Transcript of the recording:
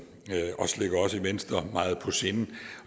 også ligger os i venstre meget på sinde